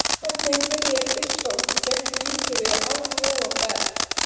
Hvernig byrjar Ísland gegn Nígeríu án Jóa Berg?